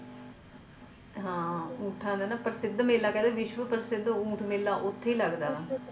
ਹਾਂ ਊਂਠਾਂ ਦਾ ਨਾ ਪ੍ਰਸਿੱਧ ਮੇਲਾ ਕਹਿੰਦੇ ਵਿਸ਼ਵ ਪ੍ਰਸਿੱਧ ਊਂਠ ਮੇਲਾ ਉੱਥੇ ਹੀ ਲੱਗਦਾ ਆ